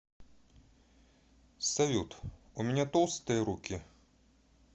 салют у меня толстые руки